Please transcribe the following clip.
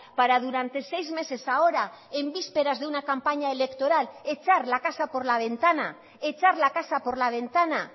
para durante seis meses ahora en vísperas de una campaña electoral echar la casa por la ventana echar la casa por la ventana